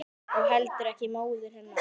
Og heldur ekki móður hennar.